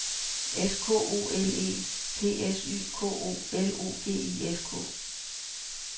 S K O L E P S Y K O L O G I S K